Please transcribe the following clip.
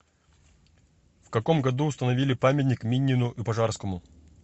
в каком году установили памятник минину и пожарскому